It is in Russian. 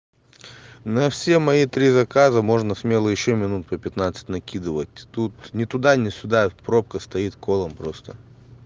на все мои три заказа можно смело ещё минут по пятнадцать накидывать тут ни туда ни сюда пробка стоит колом просто